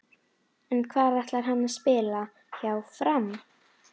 En hvar ætlar hann að spila hjá Fram?